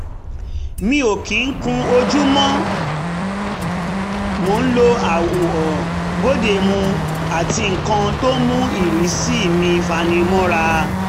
mi ò kì í kun ojú mo ń lo àwọ̀ bóde mu àti nǹkan tó mú ìrísí mi fani mọ́ra